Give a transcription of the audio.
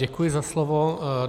Děkuji za slovo.